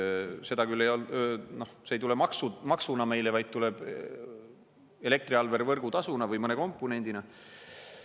Seda küll, see ei tule maksuna meile, vaid tuleb elektriarvele võrgutasuna või mõne komponendina.